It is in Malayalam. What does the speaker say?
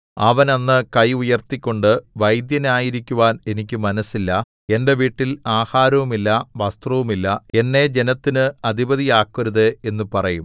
അവൻ അന്ന് കൈ ഉയർത്തിക്കൊണ്ട് വൈദ്യനായിരിക്കുവാൻ എനിക്ക് മനസ്സില്ല എന്റെ വീട്ടിൽ ആഹാരവുമില്ല വസ്ത്രവുമില്ല എന്നെ ജനത്തിന് അധിപതിയാക്കരുത് എന്നു പറയും